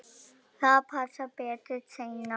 Það passar betur seinna.